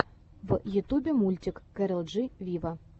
в ютубе мультик кэрол джи виво